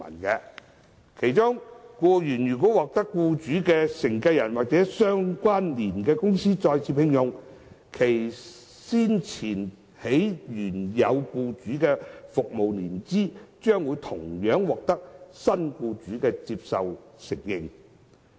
僱員如獲得僱主的繼承人或相聯公司再次聘用，其先前在原有僱主的服務年期將獲新僱主接受和承認。